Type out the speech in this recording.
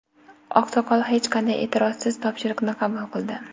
Oqsoqol hech qanday e’tirozsiz topshiriqni qabul qildi.